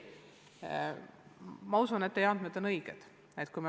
Ma usun, et teie andmed on õiged.